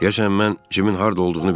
Deyəsən mən Cimin harda olduğunu bilirəm.